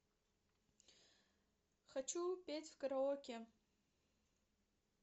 хочу петь в караоке